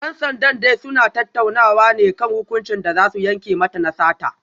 Dan sandan dai suna tattaunawa ne kan hukuncin da za su yanke mata na sata